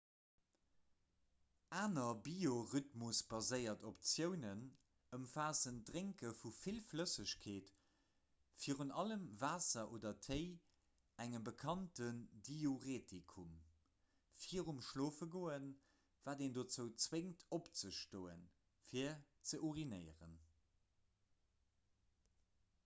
aner biorhythmusbaséiert optiounen ëmfaassen d'drénke vu vill flëssegkeet virun allem waasser oder téi engem bekannten diuretikum virum schlofegoen wat een dozou zwéngt opzestoen fir ze urinéieren